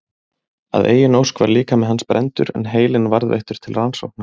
Að eigin ósk var líkami hans brenndur en heilinn varðveittur til rannsókna.